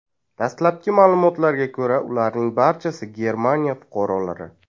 Dastlabki ma’lumotlarga ko‘ra, ularning barchasi Germaniya fuqarolari.